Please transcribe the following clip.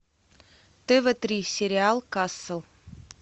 тв три сериал касл